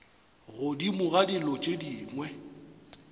godimo ga dilo tše dingwe